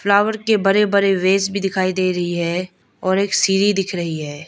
Flower के बड़े बड़े वेष भी दिखाई दे रही है और एक सिरी दिख रही है।